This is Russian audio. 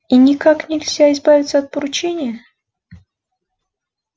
и никак нельзя избавиться от поручения